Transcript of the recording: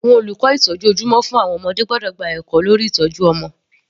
Àwọn olùkọ́ ìtọ́jú ojúmọ́ fún àwọn ọmọdé gbọ́dọ̀ gba ẹ̀kọ́ lórí ìtọ́jú ọmọ.